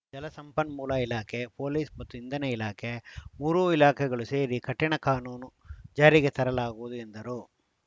ಜಲಸಂಪನ್ಮೂಲ ಇಲಾಖೆ ಪೊಲೀಸ್‌ ಮತ್ತು ಇಂಧನ ಇಲಾಖೆ ಮೂರೂ ಇಲಾಖೆಗಳು ಸೇರಿ ಕಠಿಣ ಕಾನೂನು ಜಾರಿಗೆ ತರಲಾಗುವುದು ಎಂದರು